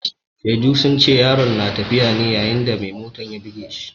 Shaidu sun ce yaron na tafiya ne yayin da mai motan ya buge shi.